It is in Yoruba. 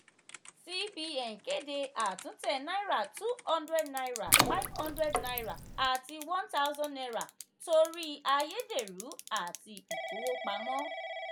cbn kéde àtúntẹ̀ náírà two hundred naira hundred naira àti one thousand naira torí àyédèrú àti ìkówó pamọ́.